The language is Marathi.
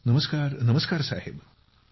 नमस्कार नमस्कार साहेब ।